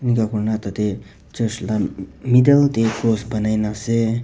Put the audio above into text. tah teh church lah middle teh post banai na ase.